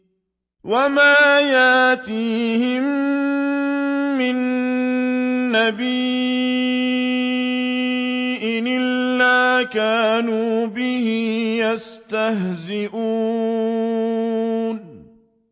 وَمَا يَأْتِيهِم مِّن نَّبِيٍّ إِلَّا كَانُوا بِهِ يَسْتَهْزِئُونَ